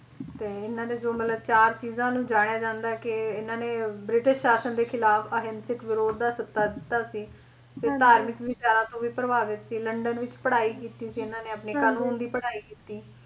ਤੇ ਇਹਨਾਂ ਦੇ ਜੋ ਮਤਲਬ ਚਾਰ ਚੀਜ਼ਾਂ ਨੂੰ ਜਾਣਿਆ ਜਾਂਦਾ ਏ ਕੇ ਇਹਨਾਂ ਨੇ ਬ੍ਰਿਟਿਸ਼ ਸ਼ਾਸ਼ਨ ਦੇ ਖਿਲਾਫ ਅਹਿੰਸਕ ਵਿਰੋਧ ਦਾ ਸੱਦਾ ਦਿੱਤਾ ਸੀ ਤੇ ਧਾਰਮਿਕ ਵਿਚਾਰਾਂ ਤੋਂ ਵੀ ਪ੍ਰਭਾਵਿਤ ਸੀ ਲੰਡਨ ਵਿੱਚ ਪੜ੍ਹਾਈ ਕੀਤੀ ਸੀ ਇਹਨਾਂ ਨੇ ਕਾਨੂੰਨ ਦੀ ਪੜ੍ਹਾਈ ਕੀਤੀ